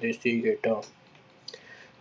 ਦੇਸੀ ਖੇਡਾਂ